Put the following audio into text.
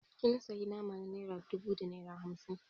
Kin sayi nama na naira dubu da naira hamsin